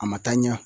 A ma taa ɲɛ